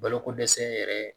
Balokodɛsɛ yɛrɛ